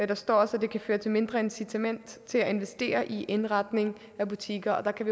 der står også at det kan føre til et mindre incitament til at investere i indretning af butikker og der kan